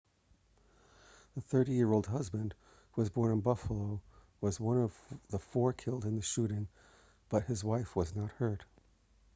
the 30-year-old husband who was born in buffalo was one of the four killed in the shooting but his wife was not hurt